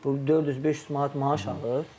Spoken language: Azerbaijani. Bu 400-500 manat maaş alır?